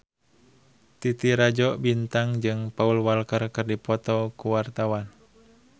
Titi Rajo Bintang jeung Paul Walker keur dipoto ku wartawan